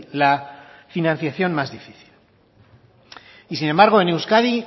la financiación más difícil y sin embargo en euskadi